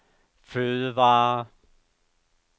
fødevarer